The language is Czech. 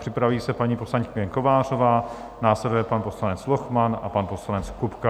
Připraví se paní poslankyně Kovářová, následuje pan poslanec Lochman a pan poslanec Kupka.